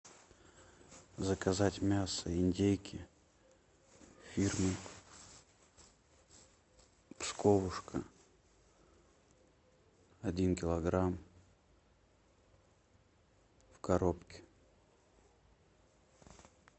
заказать мясо индейки фирмы псковушка один килограмм в коробке